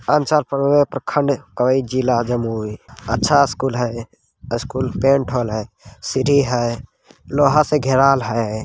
हम चार प्रखंड का इ जिला है जमुई | अच्छा स्कुल है अ स्कूल पेंट होएल है | सीढ़ी है लोहा से घेराएल है ।